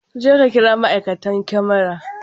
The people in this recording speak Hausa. Jeka kira ma'aikatan kamara!